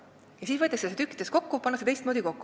Siis aga võetakse see tükkidena lahti ja pannakse teistmoodi kokku.